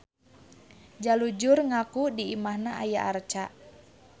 Jalujur ngaku di imahna aya arca.